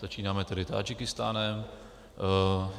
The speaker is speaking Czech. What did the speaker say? Začínáme tedy Tádžikistánem.